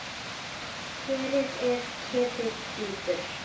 Kerið er ketill djúpur.